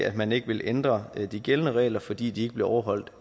at man ikke vil ændre de gældende regler fordi de ikke bliver overholdt